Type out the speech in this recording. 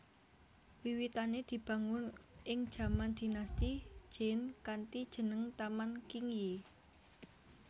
Wiwitane dibangun ing jaman Dinasti Jin kanthi jeneng Taman Qingyi